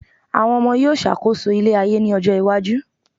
àwọn ọmọ yíò ṣàkóso ile ayé ni ọjọ iwaju